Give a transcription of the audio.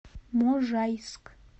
можайск